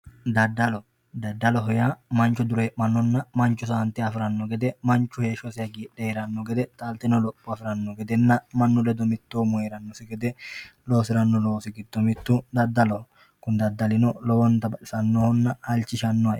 Daddalo, daddalu manchu duuremanonna manchu saante afirano gede manchu heeshshosi hagiidhe heerano gede taaltino lopho afirano gedenna mannu ledo mittomu heeranosi gede loosirano loosi giddo mitu daddaloho, kuni daddalino lowonta baxisanohonna halchisanoho.